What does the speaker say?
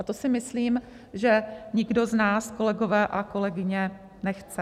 A to si myslím, že nikdo z nás, kolegové a kolegyně, nechce.